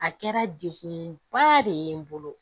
A kɛra degunba de ye n bolo